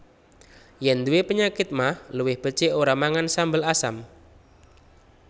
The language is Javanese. Yèn nduwé penyakit magh luwih becik ora mangan sambel asam